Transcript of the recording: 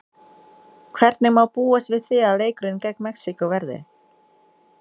Hvernig má búast við því að leikurinn gegn Mexíkó verði?